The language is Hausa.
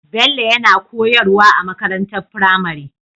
Bello yana koyar wa a makarantar firamare